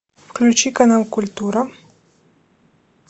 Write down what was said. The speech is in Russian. включи канал культура